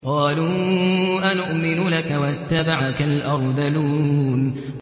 ۞ قَالُوا أَنُؤْمِنُ لَكَ وَاتَّبَعَكَ الْأَرْذَلُونَ